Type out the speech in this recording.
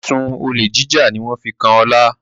Ẹsùn Olè jíjà ní wón fí kán Ola